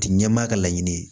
Ti ɲɛmaa ka laɲini ye